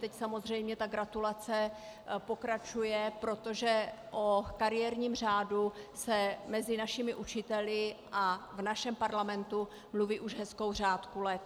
Teď samozřejmě ta gratulace pokračuje, protože o kariérním řádu se mezi našimi učiteli a v našem Parlamentu mluví už hezkou řádku let.